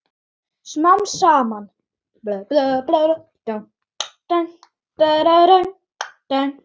Smám saman.